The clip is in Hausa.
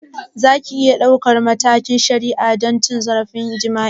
Za ku iya ɗaukar matakin shari'a don cin zarafin jima'i?